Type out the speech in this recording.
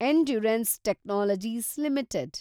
endurance technologies limited